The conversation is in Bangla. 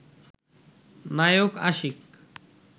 নায়ক আশিক